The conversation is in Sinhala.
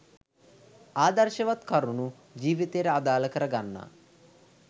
ආදර්ශවත් කරුණු ජීවිතයට අදාළ කරගන්නා